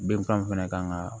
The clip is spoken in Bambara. Bɛnkan fɛnɛ kan ka